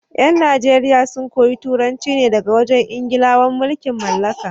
yan Najeriya sun koyi Turanci ne daga wajen Ingilawan mulkin mallaka.